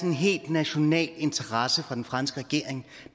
en helt national interesse fra den franske regering